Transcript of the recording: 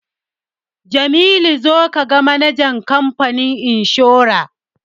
Jamilu zo ka ga manajan kamfanin inshora!